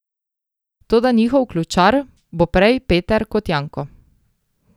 Toda njihov ključar bo prej Peter kot Janko.